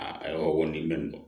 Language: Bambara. Aa ayiwa nin bɛ nin